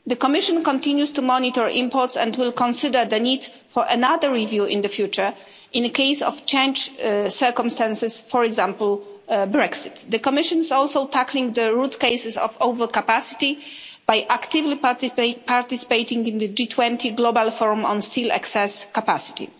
The Commission continues to monitor imports and will consider the need for another review in the future, in the case of changed circumstances, for example, Brexit. The Commission is also tackling the root causes of overcapacity by actively participating in the G20 global forum on steel excess capacity.